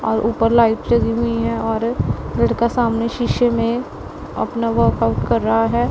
और ऊपर लाइट चली हुई है और लड़का सामने शीशे में अपना वर्क आउट कर रहा है।